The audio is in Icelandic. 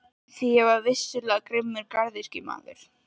Því ég var vissulega grimmur garðyrkjumaður.